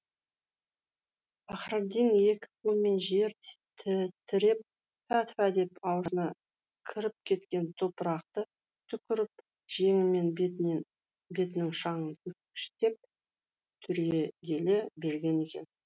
пахраддин екі қолымен жер тіреп тфә тфә деп аузына кіріп кеткен топырақты түкіріп жеңімен бетінің шаңын сүрткіштеп түрегеле берген екен